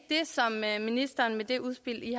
som ministeren med det udspil i